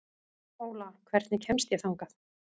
Óla, hvernig kemst ég þangað?